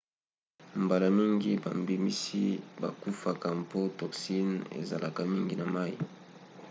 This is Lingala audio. mbala mingi bambisi bakufaka mpo toxine ezalaka mingi na mai